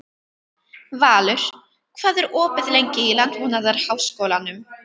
Valur, hvað er opið lengi í Landbúnaðarháskólanum?